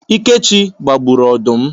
Ikechi gbagburu odum